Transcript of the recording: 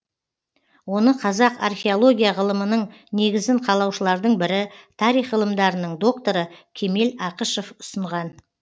оны қазақ археология ғылымының негізін қалаушылардың бірі тарих ғылымдарының докторы кемел ақышев ұсынған